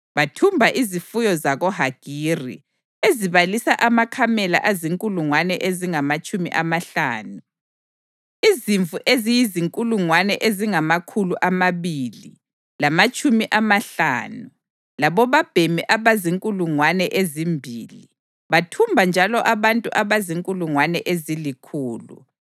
Bathumba izifuyo zakoHagiri ezibalisa amakamela azinkulungwane ezingamatshumi amahlanu, izimvu eziyizinkulungwane ezingamakhulu amabili lamatshumi amahlanu labobabhemi abazinkulungwane ezimbili. Bathumba njalo abantu abazinkulungwane ezilikhulu,